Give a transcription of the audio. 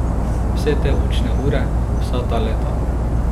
Vse te učne ure, vsa ta leta.